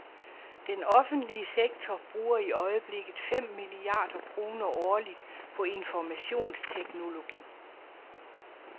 Den offentlige sektor bruger i øjeblikket fem milliarder kroner årligt på informationsteknologi.